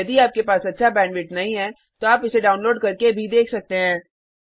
यदि आपके पास अच्छा बैंडविड्थ नहीं है तो आप इसे डाउनलोड करके देख सकते हैं